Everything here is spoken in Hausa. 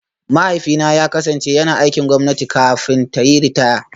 Mahaifina ya kasance yana aikin gwamnati kafin ta yi ritaya